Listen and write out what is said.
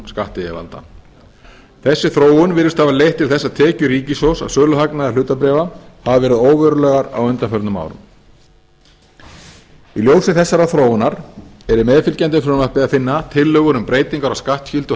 skattyfirvalda þessi þróun virðist hafa leitt til þess að tekjur ríkissjóðs af söluhagnaði hlutabréfa hafi verið óverulegar á undanförnum árum í ljósi þessarar þróunar er í meðfylgjandi frumvarpi að finna tillögur um breytingar á skattskyldu